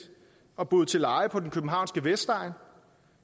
og boet til leje på den københavnske vestegn